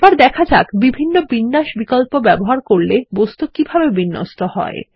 এবার দেখা যাক বিভিন্ন বিন্যাস বিকল্প ব্যবহার করলে বস্তু কিভাবে বিন্যস্ত হয়